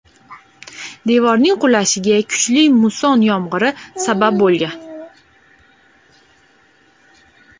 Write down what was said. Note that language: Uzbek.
Devorning qulashiga kuchli musson yomg‘iri sabab bo‘lgan.